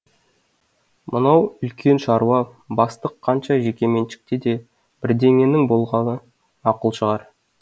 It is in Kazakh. мынау үлкен шаруа бастық қанша жекеменшікте де бірдеңенің болғаны мақұл шығар